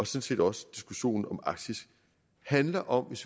set også diskussionen om arktis handler om